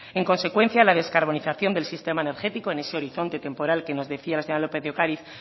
en consecuencia la descarbonización del sistema energético en ese horizonte temporal que nos decía la señora lópez de ocariz